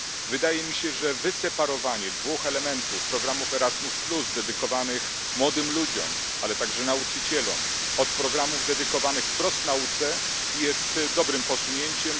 Wydaje mi się, że odseparowanie dwóch elementów programów Erasmus dedykowanych młodym ludziom, ale także nauczycielom, od programów dedykowanych wprost nauce jest dobrym posunięciem.